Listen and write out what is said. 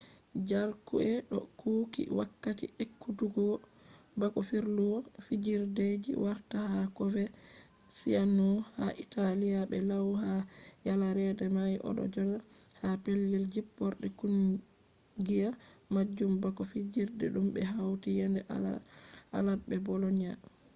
jarque do kuuki wakkati ekkutuggo bako firluwol fijideji warta ha coverciano ha italy be lau ha yaladere mai. o do joda ha pellel jipporde kungiya majum bako fijirde dum be hauti yende alad be bolonia